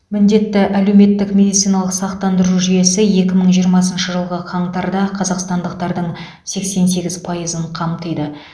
міндетті әлеуметтік медициналық сақтандыру жүйесі екі мың жиырмасыншы жылғы қаңтарда қазақстандықтардың сексен сегіз пайызын қамтиды